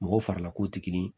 Mɔgɔw farila kow tɛ kelen ye